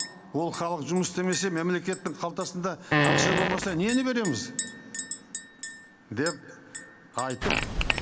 ол халық жұмыс істемесе мемлекеттің қалтасында ақша болмаса нені береміз деп айтып